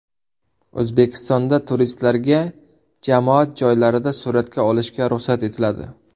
O‘zbekistonda turistlarga jamoat joylarida suratga olishga ruxsat etiladi.